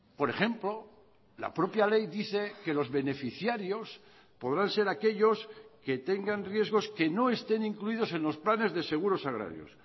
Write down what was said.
por ejemplo la propia ley dice que los beneficiarios podrán ser aquellos que tengan riesgos que no estén incluidos en los planes de seguros agrarios